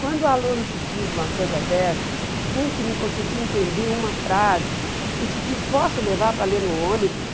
Quando o aluno te diz uma coisa dessa, um que não conseguia entender uma frase, e te diz, posso levar para ler no ônibus?